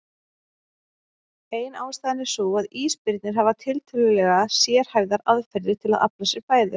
Ein ástæðan er sú að ísbirnir hafa tiltölulega sérhæfðar aðferðir til að afla sér fæðu.